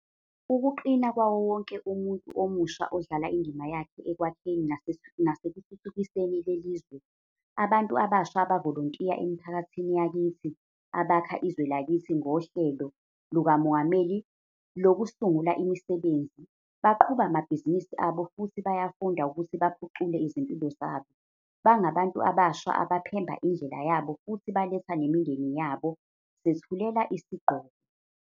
.ukuqina kwawo wonke umuntu omusha odlala indima yakhe ekwakheni nasekuthuthukiseni le lizwe. Abantu abasha abavolontiya emiphakathini yakithi, abakha izwe lakithi ngoHlelo lukaMongameli Lokusungula Imisebenzi, baqhuba amabhizinisi abo futhi bayafunda ukuthi baphucule izimpilo zabo. Bangabantu abasha abaphemba indlela yabo futhi baletha nemindeni yabo. Sethulela isigqoko.